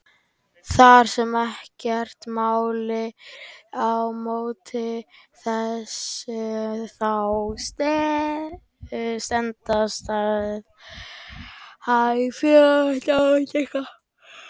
Þar sem ekkert mælir á móti þessu þá stenst staðhæfingin.